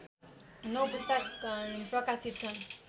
नौ पुस्तक प्रकाशित छन्